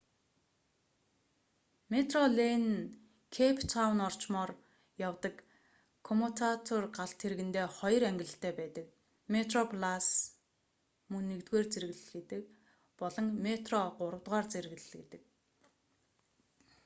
метрорэйл нь кэйп таун орчмоор явдаг коммутатор галт тэргэндээ хоёр ангилалтай байдаг: метроплас мөн нэгдүгээр зэрэглэл гэдэг болон метро гуравдугаар зэрэглэл гэдэг